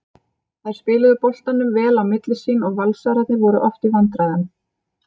Þær spiluðu boltanum vel á milli sín og Valsararnir voru oft í vandræðum.